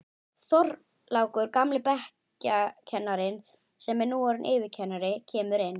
Þorlákur, gamli bekkjarkennarinn sem nú er orðinn yfirkennari, kemur inn.